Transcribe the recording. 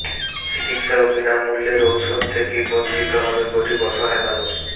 চিকিৎসা ও বিনা মূল্যের ওষুধ থেকে বঞ্চিত হবে গরিব অসহায় মানুষ